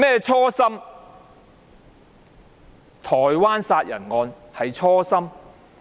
處理台灣殺人案是初心？